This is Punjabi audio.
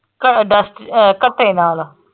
ਘਰੇ dust ਅਹ ਘੱਟੇ ਨਾਲ।